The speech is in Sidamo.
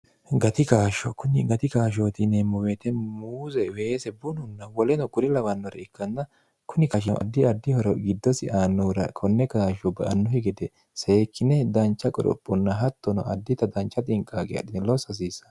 gati kaashsho kunni gati kaashshootineemmo weete muuze weese bununna woleno kuri lawannore ikkanna kuni kashono addi addihoro giddosi aanuura konne gaashsho ba annuhi gede seekkine dancha qorophonna hattono addita dancha xinqaaqe adhine loosso hasiissa